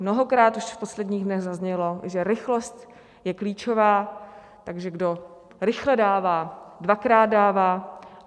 Mnohokrát už v posledních dnech zaznělo, že rychlost je klíčová, takže kdo rychle dává, dvakrát dává.